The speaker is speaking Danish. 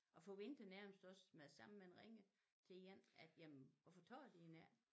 Og forventer nærmest også med det samme man ringer til en at jamen hvorfor tager de den ikke?